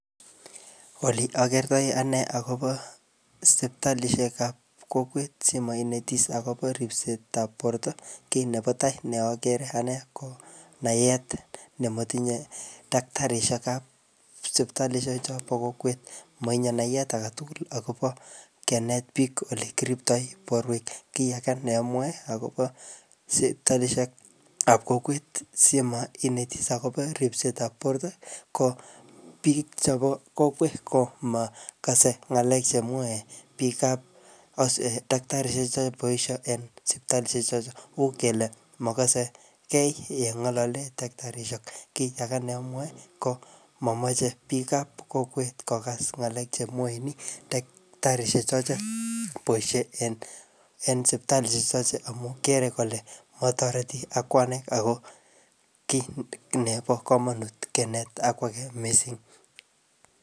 Oli akertoi ane ak0bo sipitalishek ap kokwet simo inetis akopo ripset ap porto, kiy nebo tai ne agere ane ko, naet nematinye daktarishek ap sipitalishek chobo kokwet. Matinye nayet age tugul akobo kenet biik ole kiriptoi borwek. Kiy age neamwae akobo sipitalishek ap kokwet simoinetis akobo ripsetab porto, ko biik chobo kokwet komakase ngalek chemwae biikab um daktarishek cheboisie eng sipitalishek chotocho. Uu kele makase yekae ye ngalali daktarishek. Kiy age ne amwae ko momoche biik ab kokwet kokas ngalek chemwain daktarishek che boisie en, en sipitalishek chotocho amu kere kole matoreti akwanai ako kiy nebo komonut kenet ak kwage missing.